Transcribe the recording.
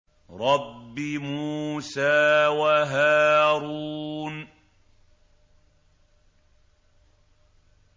رَبِّ مُوسَىٰ وَهَارُونَ